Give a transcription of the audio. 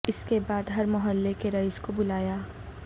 اس کے بعد ہر محلہ کے رئیس کو بلایا